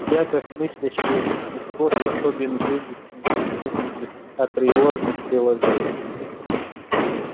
я как мыслящее существо способен вывести истину из априорных приложений